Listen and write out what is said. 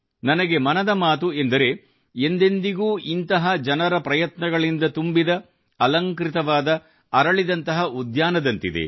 ನನಗೆ ಮನದ ಮಾತು ಎಂದರೆ ಎಂದೆಂದಿಗೂ ಇಂತಹ ಜನರ ಪ್ರಯತ್ನಗಳಿಂದ ತುಂಬಿದ ಅಲಂಕೃತವಾದ ಅರಳಿದಂತಹ ಉದ್ಯಾನದಂತಿದೆ